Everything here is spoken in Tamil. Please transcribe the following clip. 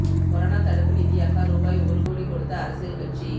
கொரோனா தடுப்பு நிதியாக ரூபாய் ஒரு கோடி கொடுத்த அரசியல் கட்சி